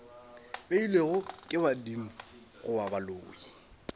beilwego ke badimo goba baloi